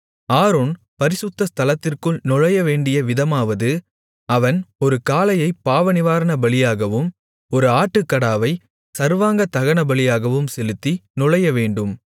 Aaron பரிசுத்த ஸ்தலத்திற்குள் நுழையவேண்டிய விதமாவது அவன் ஒரு காளையைப் பாவநிவாரணபலியாகவும் ஒரு ஆட்டுக்கடாவைச் சர்வாங்க தகனபலியாகவும் செலுத்தி நுழையவேண்டும்